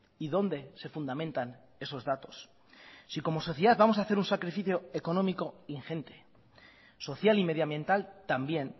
y dónde se fundamentan esos datos si como sociedad vamos a hacer un sacrificio económico ingente social y medioambiental también